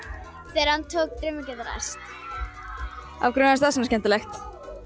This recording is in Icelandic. þegar hann tók draumar geta ræst af hverju fannst þér það svona skemmtilegt